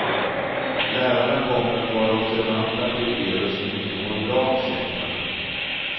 Lärarna kommer att vara observanta på elever som inte mår bra, säger han.